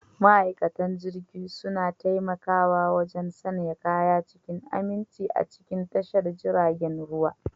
Ma'aikatan jirgi suna taimakawa wajen sanya kaya cikin aminci a cikin tashar jiragen ruwa.